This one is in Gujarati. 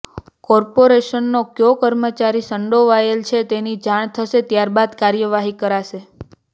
કોર્પોરેશનનો ક્યો કર્મચારી સંડોવાયેલો છે તેની જાણ થશે ત્યાર બાદ કાર્યવાહી કરાશે